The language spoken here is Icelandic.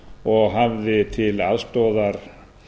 og hafði til aðstoðar